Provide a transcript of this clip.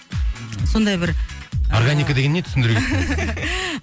сондай бір ыыы органика деген не түсіндіре кетсеңіз